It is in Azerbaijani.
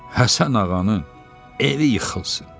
Həsən ağanın evi yıxılsın.